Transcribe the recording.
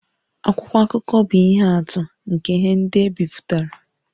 Akwụkwọ akụkọ bụ ihe atụ nke ihe ndị e bipụtara